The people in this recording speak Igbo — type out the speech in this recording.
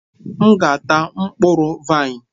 M ga-ata mkpụrụ vaịn.